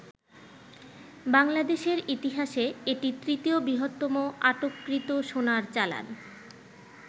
বাংলাদেশের ইতিহাসে এটি তৃতীয় বৃহত্তম আটককৃত সোনার চালান।